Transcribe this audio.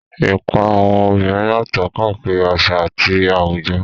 Ipa àwọn obìnrin yàtọ̀ káàkiri àṣà àti àwùjọ.